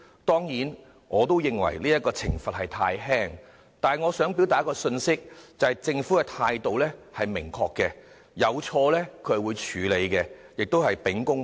當然，我也認為懲罰太輕，但我想表達一個信息，便是政府在事件上的態度很明確：有錯必會處理，而且秉公辦事。